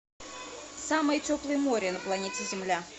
самое теплое море на планете земля